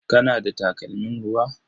Kana da takalmin ruwa?